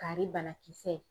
Kari banakisɛ